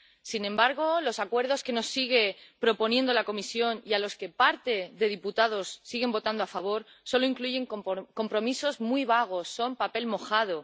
Sin embargo, los acuerdos que nos sigue proponiendo la Comisión y a los que parte de diputados siguen votando a favor solo incluyen compromisos muy vagos son papel mojado.